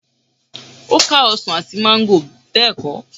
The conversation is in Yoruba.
ó ká ọsàn àti máńgò bẹ́ẹ̀ kọ́?